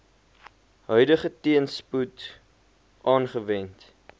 huidige teenspoed aanwend